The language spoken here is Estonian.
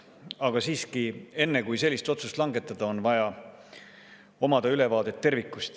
Aga siiski, enne kui sellist otsust langetada, on vaja omada ülevaadet tervikust.